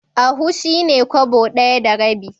Ahu shi ne Kwabo ɗaya da rabi.